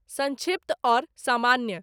संक्षिप्त अउर सामान्य